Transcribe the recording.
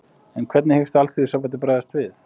En hvernig hyggst Alþýðusambandið bregðast við?